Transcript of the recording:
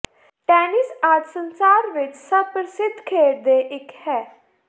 tennis ਅੱਜ ਸੰਸਾਰ ਵਿੱਚ ਸਭ ਪ੍ਰਸਿੱਧ ਖੇਡ ਦੇ ਇੱਕ ਹੈ